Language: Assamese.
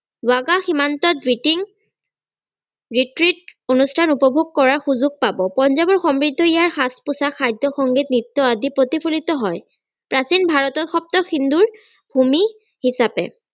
বাগা সীমান্তত অনুস্থান উপভোগ কৰাৰ সুযোগ পাব পঞ্জাৱৰ সমৃদ্ধ ইয়াৰ সাজ-পোছাক খাদ্য সংগীত নৃত্য আদি প্ৰতিফলিত হয় প্ৰাচীন ভাৰতৰ সপ্ত সিন্ধুৰ ভূমি হিচাপে